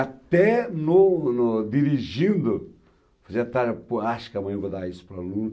Até no no... dirigindo... acho que amanhã eu vou dar isso para o aluno.